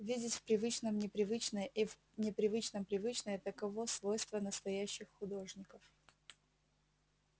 видеть в привычном непривычное и в непривычном привычное таково свойство настоящих художников